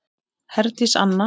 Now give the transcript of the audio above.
Herdís Anna.